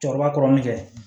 Cɛkɔrɔba kɔrɔnin fɛ